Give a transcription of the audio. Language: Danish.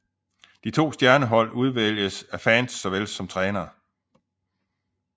De to stjernehold udvælges af fans såvel som trænere